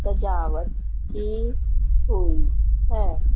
सजावट की हुई है।